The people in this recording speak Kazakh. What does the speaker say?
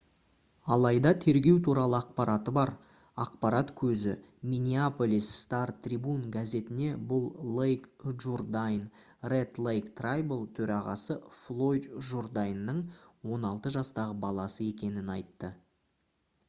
алайда тергеу туралы ақпараты бар ақпарат көзі minneapolis star-tribune газетіне бұл лейк джурдайн red lake tribal төрағасы флойд журдайнның 16 жастағы баласы екенін айтты